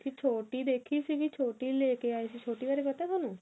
ਵੀ ਛੋਟੀ ਦੇਖੀ ਸੀ ਵੀ ਛੋਟੀ ਨੂੰ ਲੈਕੇ ਆਏ ਸੀ ਛੋਟੀ ਬਾਰੇ ਪਤਾ ਥੋਨੂੰ